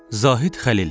Zahid Xəlil.